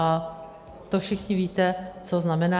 A to všichni víte, co znamená.